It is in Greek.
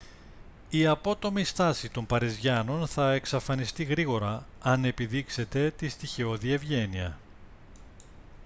η απότομη στάση των παριζιάνων θα εξαφανιστεί γρήγορα αν επιδείξετε τη στοιχειώδη ευγένεια